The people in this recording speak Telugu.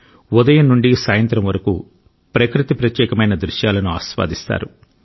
ఉదయం నుండి సాయంత్రం వరకు ప్రకృతి ప్రత్యేకమైన దృశ్యాలను ఆస్వాదిస్తారు